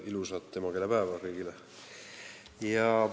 Ilusat emakeelepäeva kõigile!